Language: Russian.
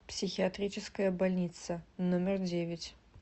психиатрическая больница номер девять